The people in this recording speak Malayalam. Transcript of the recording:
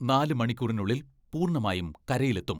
നാല് മണിക്കൂറിനുള്ളിൽ പൂർണ്ണമായും കരയിലെത്തും.